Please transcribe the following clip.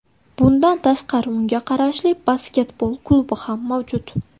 Bundan tashqari unga qarashli basketbol klubi ham mavjud.